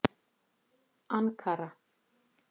Ankara